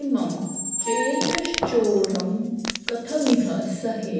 इमं चेतश्चोरं कथमिह सहे